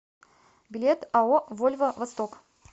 билет ао вольво восток